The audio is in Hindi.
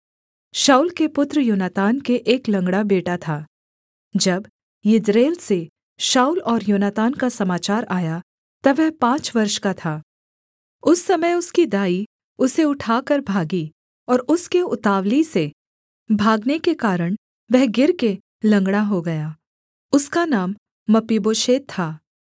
शाऊल के पुत्र योनातान के एक लँगड़ा बेटा था जब यिज्रेल से शाऊल और योनातान का समाचार आया तब वह पाँच वर्ष का था उस समय उसकी दाई उसे उठाकर भागी और उसके उतावली से भागने के कारण वह गिरकर लँगड़ा हो गया उसका नाम मपीबोशेत था